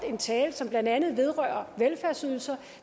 en tale som blandt andet vedrørte velfærdsydelser